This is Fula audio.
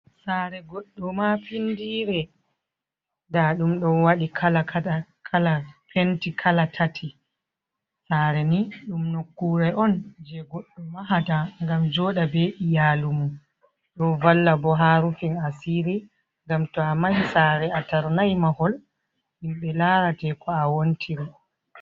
Saare goɗɗo ma findire, nda ɗum ɗon waɗi kala kala penti kala tati, saare ni ɗum nokkure on je goɗɗo mahata ngam joɗa be iyalumudum valla bo ha rufin asiri, ngam to a mahi saare a tarnai mahol himɓe larate ko a wontiri.